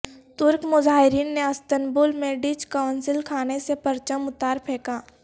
ترک مظاہرین نے استنبول میں ڈچ قونصل خانے سے پرچم اتار پھینکا